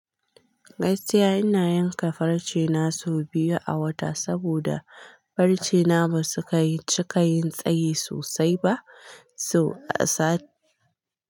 Gaiskiya ina yanka farce na sau biyu a wata, saboda farce na ba su kai ci ka yin tsayi sosai ba, so a sati.